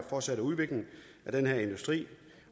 fortsatte udvikling af den her industri